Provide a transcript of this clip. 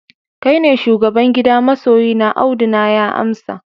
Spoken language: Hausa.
kai ne shugaban gida masoyina, Audu na ya amsa